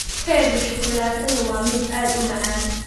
Keega shukulaatada waa mid aad u macaan.